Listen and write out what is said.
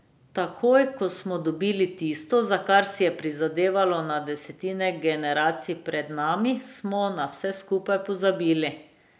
Takoj, ko smo dobili tisto, za kar si je prizadevalo na desetine generacij pred nami, smo na vse skupaj pozabili.